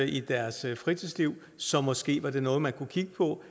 i deres fritidsliv så det er måske noget man kunne kigge på